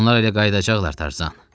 Onlar elə qayıdacaqlar Tarzan.